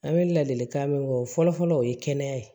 An bɛ ladilikan min fɔ o fɔlɔ-fɔlɔ o ye kɛnɛya ye